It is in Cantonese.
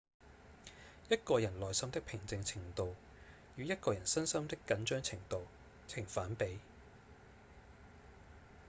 一個人內心的平靜程度與一個人身心的緊張程度呈反比